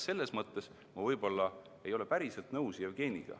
Selles mõttes ma võib-olla ei ole Jevgeniga päriselt nõus.